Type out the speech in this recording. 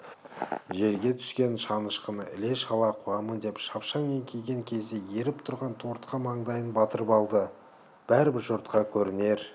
жерге түскен шанышқыны іле-шала қуамын деп шапшаң еңкейген кезде еріп тұрған тортқа маңдайын батырып алды да бәрібір жұртқа көрінер